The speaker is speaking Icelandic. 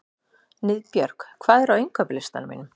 Niðbjörg, hvað er á innkaupalistanum mínum?